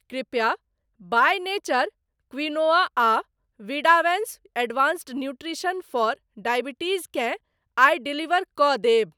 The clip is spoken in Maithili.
कृपया बाय नेचर क्विनोआ आ विडावैंस एडवांस्ड नुट्रिशन फॉर डॉयबिटीज़ केँ आइ डिलीवर कऽ देब।